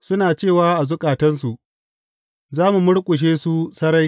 Suna cewa a zukatansu, Za mu murƙushe su sarai!